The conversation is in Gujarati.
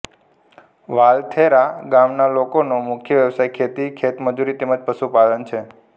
વાલથેરા ગામના લોકોનો મુખ્ય વ્યવસાય ખેતી ખેતમજૂરી તેમ જ પશુપાલન છે